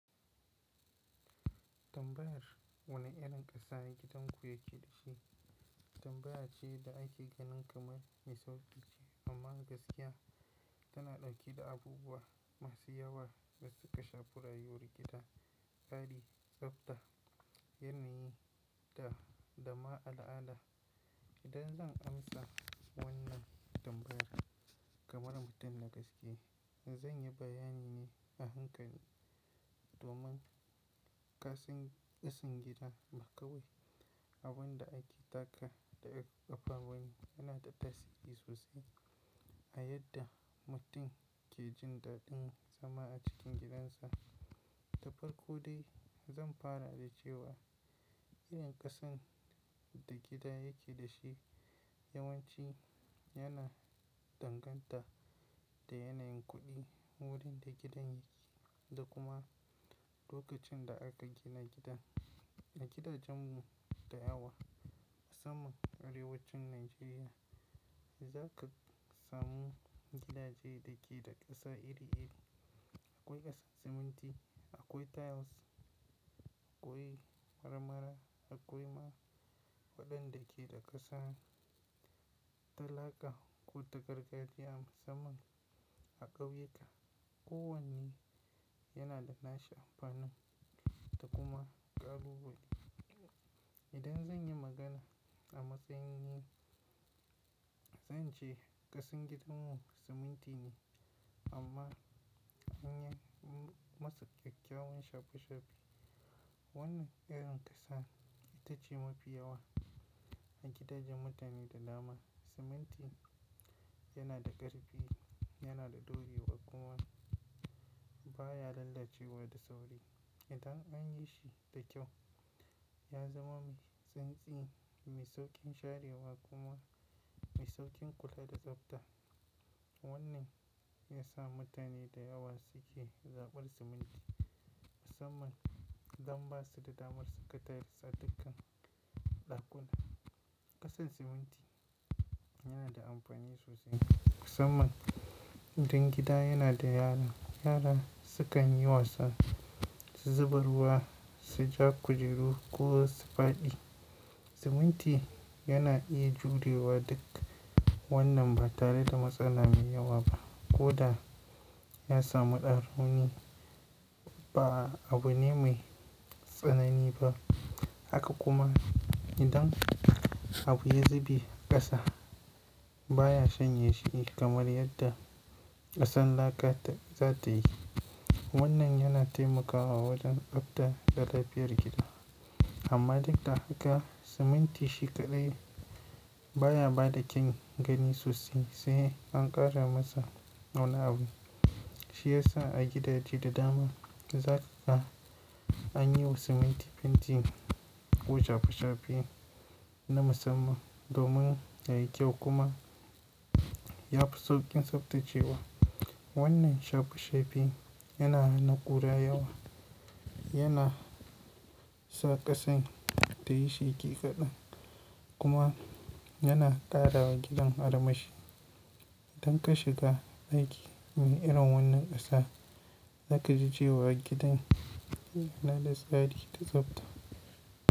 Tambayar wane irin ƙasa gidan ku yake da shi? Tambaya ce da ake ganin kamar mai sauƙi ce amma gaskiya tana ɗauke da abubuwa masu yawa da suka shafar rayuwar gida, tsari, tsafta, yanayi da dama ala'ala. Idan zan amsa wannan tambayar kamar mutum da gaske, zan yi bayani ne a hakan domin Kasan kasan gidan ba kawai abun da ake taka da kafa bane yana da tasiri sosai a yadda mutum ke jin daɗin zama a cikin gidansa. Da farko dai zan fara da cewa irin ƙasan da gida yake da shi yawanci yana danganta da yanayin kuɗi wurin da gidan yake da kuma lokacin da aka gina gidan. A gidajen mu da yawa musamman arewacin Najeriya za ka samu gidaje da ke da ƙasa iri-iri. Akwai ƙasan siminti, akwai tiles, akwai marmara, akwai ma waɗanda ke da ƙasan ta laka ko ta gargajiya musamman a ƙauyuka kowanne yana da nashi amfanin da kuma ƙalubale. Idan zan yi magana a matsayin ni, zan ce kasan gidan mu siminti ne amma anyi masa ƙyakkyawan shafe-shafe. Wannan irin ƙasa ita ce mafi yawa a gidajen mutane da dama. Siminti yana da ƙarfi, yana da daurewa kuma baya lalacewa da sauri. Idan an yi shi da kyau ya zama mai tsintsie, mai sauƙin sharewa kuma mai sauƙin kula da tsafta. Wannan shi ya sa mutane da yawa suke zaɓar siminti musamman don ba su da damar saka tiles a dukkan ɗakuna. Ƙasan siminti yana da amfani sosai musamman idan gida yana da yara. Yara sukan yi wasa, su zuba ruwa, su ja kujeru ko su faɗi. Siminti yana iya jurewa duk wannan ba tare da matsala mai yawa ba ko da ya samu ɗan rauni ba abune mai tsanani ba. Haka kuma idan abu ya zube ƙasa baya shanye shi kamar yadda ƙasan laka za ta yi. Wannan yana taimakawa wajen tsabta da lafiyar gida. Amma dukda haka siminti shi kaɗai baya ba da kyawun gani sosai sai an ƙara masa wani abu. Shi yasa a gidaje da dama za ka anyiwa siminti fenti ko shafe-shafe na musamman domin ya yi kyau kuma ya fi sauƙin tsaftacewa. Wannan shafe-shafe yana hana kura yawa, yana sa ƙasan ta yi sheki kaɗan kuma yana ƙara wa gidan armashi. Idan ka shiga ɗaki mai irin wannan ƙasa za ka ji cewa gidan yana da tsari da tsafta.